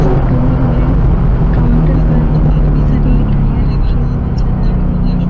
Photo में हमें counter पर बहुत सारी मिठाइयां रखी हुई नजर आ रही हैं।